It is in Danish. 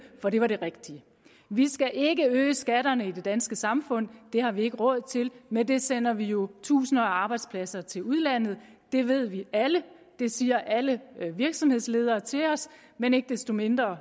for det var det rigtige vi skal ikke øge skatterne i det danske samfund det har vi ikke råd til med det sender vi jo tusinder af arbejdspladser til udlandet det ved vi alle det siger alle virksomhedsledere til os men ikke desto mindre